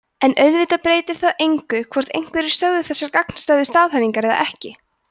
en auðvitað breytir það engu hvort einhverjir sögðu þessar gagnstæðu staðhæfingar eða ekki